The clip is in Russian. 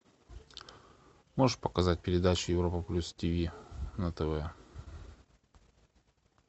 можешь показать передачу европа плюс тв на тв